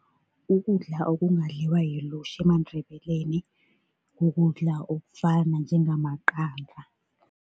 Ukudla okungadliwa yilutjha emaNdebeleni, kukudla okufana njengamaqanda.